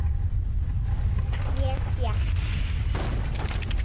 Ég fékk